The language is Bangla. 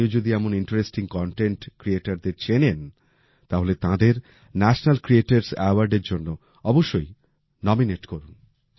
আপনিও যদি এমন ইন্টারেস্টিং কনটেন্ট ক্রিয়েটারদের চেনেন তাহলে তাঁদের ন্যাশনাল ক্রিয়েটরস awardএর জন্য অবশ্যই নমিনেট করুন